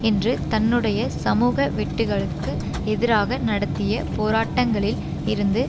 என்று தன்னுடைய சமூக வெட்டுக்களுக்கு எதிராக நடத்திய போராட்டங்களில் இருந்து